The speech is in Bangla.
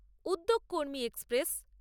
উদ্যোগ কর্মী এক্সপ্রেস